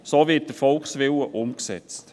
So wird der Volkswillen umgesetzt.